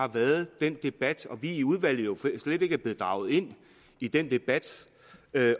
har været den debat og at vi i udvalget jo slet ikke er blevet draget ind i den debat